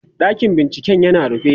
ɗakin binciken yana rufe